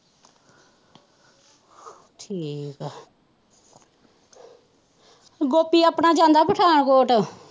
ਠੀਕ ਹੈ ਗੋਪੀ ਆਪਣਾ ਜਾਂਦਾ ਪਠਾਨਕੋਟ।